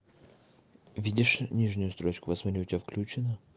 видишь нижнюю строчку вот смотри у тебя включён